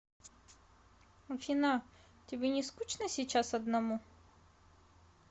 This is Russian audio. афина тебе не скучно сейчас одному